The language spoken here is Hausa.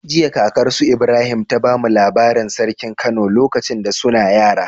Jiya kakar su Ibrahim ta bamu labarin sarkin kano lokacin da suna yara